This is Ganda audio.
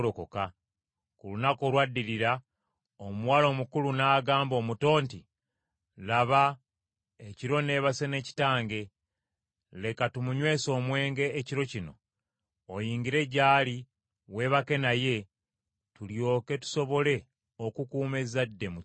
Ku lunaku olwaddirira, omuwala omukulu n’agamba omuto nti, “Laba, ekiro neebase ne kitange; Leka tumunywese omwenge ekiro kino, oyingire gy’ali weebake naye, tulyoke tusobole okukuuma ezzadde mu kitaffe.”